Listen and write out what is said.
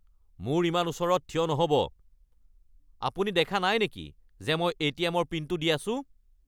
মোৰ ইমান ওচৰত থিয় নহ'ব! আপুনি দেখা নাই নেকি যে মই এ.টি.এম.ৰ পিনটো দি আছোঁ?